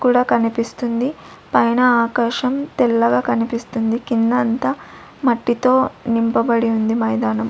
కూడా కనిపిస్తుంది పైన ఆకాశం తెల్లగా కనిపిస్తుంది కింద అంతా మట్టితో నింపబడి ఉంది మైదానం.